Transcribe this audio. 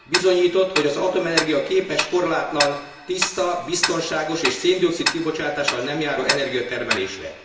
Bizonyított, hogy az atomenergia képes korlátlan, tiszta, biztonságos és szén dioxid kibocsátással nem járó energiatermelésre.